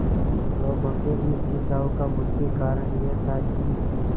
लोगों के इस खिंचाव का मुख्य कारण यह था कि